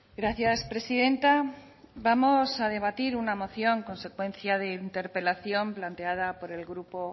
gracias presidenta vamos a debatir una moción consecuencia de interpelación planteada por el grupo